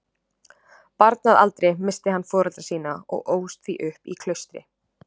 Barn að aldri missti hann foreldra sína og ólst því upp í klaustri.